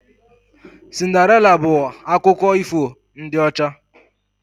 Cinderịla bụ akụkọ ifo ndị ọcha